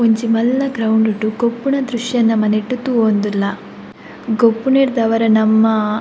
ಒಂಜಿ ಮಲ್ಲ ಗ್ರೌಂಡ್ಡ್ ಗೊಬ್ಬುನ ದ್ರಶ್ಯ ನಮ ನೆಟ್ಟ್ ತೂವೊಂದುಲ್ಲ ಗೊಬ್ಬುನೆಡ್ದಾವರ ನಮ್ಮ --